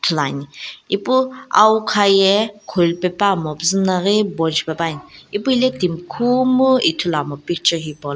ithuluani ipu awukha ye khuli pe puamopuzu na ghi bon shipe puani ipu hile timi khumu ithuluamo picture hipaulo.